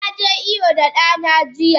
Naje iyo da dana jiya.